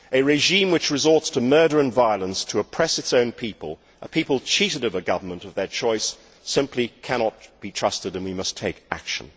A regime which resorts to murder and violence to oppress its own people, a people cheated of a government of their choice, simply cannot be trusted, and we must take action.